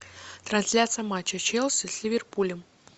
трансляция матча челси с ливерпулем